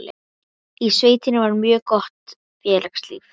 Í sveitinni var mjög gott félagslíf.